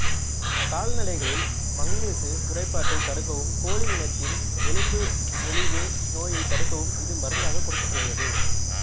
கால்நடைகளில் manganese குறைபாட்டைத் தடுக்கவும் கோழியினத்தில் எலும்பு மெலிவு நோயைத் தடுக்கவும் இது மருந்தாகக் கொடுக்கப்படுகிறது